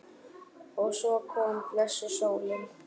Og svo kom blessuð sólin!